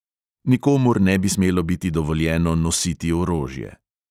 Nikomur ne bi smelo biti dovoljeno nositi orožje.